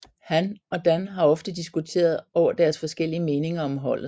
Han og Dan har ofte diskuteret over deres forskellige meninger om holdet